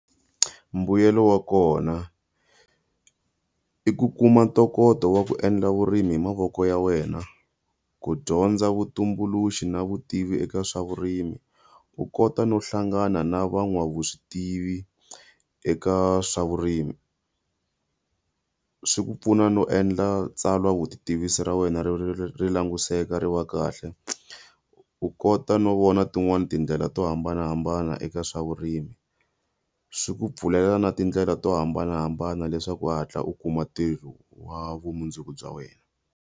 Mbuyelo wa kona. I ku kuma ntokoto wa ku endla vurimi hi mavoko ya wena, ku dyondza vutumbuluxi na vutivi eka swa vurimi, u kota no hlangana na van'wavuswi tivi eka swa vurimi. Swi ku pfuna no endla tsalwa vutitivisi ra wena ri ri ri langutisela ri wa kahle, u kota no vona tin'wani tindlela to hambanahambana eka swa vurimi. Swi ku pfulela na tindlela to hambanahambana leswaku u hatla u kuma ntirho wa vumundzuku bya wena.